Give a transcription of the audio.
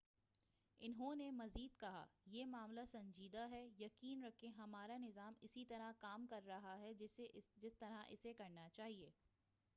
انہوں نے مزید کہا، یہ معاملہ سنجیدہ ہے۔ یقین رکھیں ہمارا نظام اسی طرح کام کر رہا ہے جس طرح اسے کرنا چاہ‏ئے۔